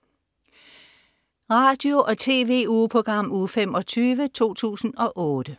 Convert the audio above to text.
Radio- og TV-ugeprogram Uge 25, 2008